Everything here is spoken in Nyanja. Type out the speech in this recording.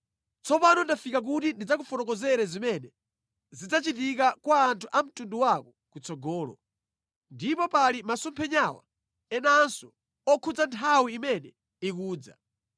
Tsopano ndafika kuti ndidzakufotokozere zimene zidzachitika kwa anthu a mtundu wako kutsogolo. Ndipo pali masomphenya enanso okhudza nthawi imene ikudza.”